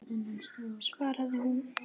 svaraði hún.